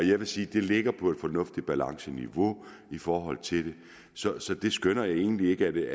jeg vil sige at det ligger på et fornuftigt balanceniveau i forhold til det så jeg skønner egentlig ikke at det